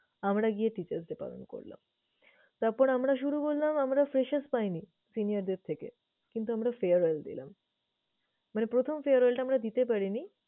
আমরা গিয়ে teacher's day পালন করলাম। তারপর আমরা শুধু বললাম আমরা পাইনি senior দের থেকে কিন্তু আমরা farewell দিলাম। মানে প্রথম farewell টা আমরা দিতে পারিনি।